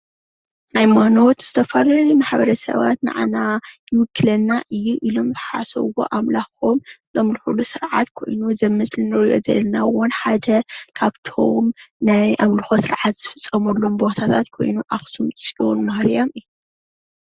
ሃይማኖት ዝተፈላለዩ ማሕበረ ሰብ ንዓናይውክለና እዩ ኢሎም ዝሓሰብዎ ኣምላኮም ዘምልክሉ ስርዓት ኮይኑ እዚ እንሪኦ ዘለና እውን ሓደ ካብቶም ናይ ኣምልኮታት ስርዓት ዝፍፀመሉ ኮይኑ ናይ ኣክሱም ፅዮን ማርያም ።